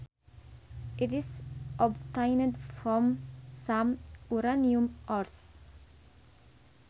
It is obtained from some uranium ores